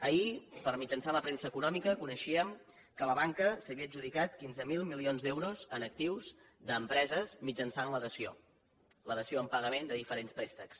ahir mitjançant la premsa econòmica coneixíem que la banca s’havia adjudicat quinze mil milions d’euros en actius d’empreses mitjançant la dació la dació en pagament de diferents préstecs